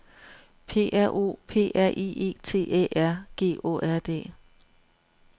P R O P R I E T Æ R G Å R D